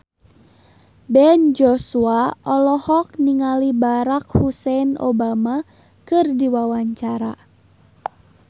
Ben Joshua olohok ningali Barack Hussein Obama keur diwawancara